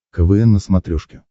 квн на смотрешке